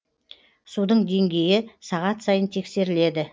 судың деңгейі сағат сайын тексеріледі